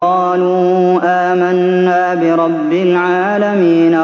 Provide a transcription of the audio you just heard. قَالُوا آمَنَّا بِرَبِّ الْعَالَمِينَ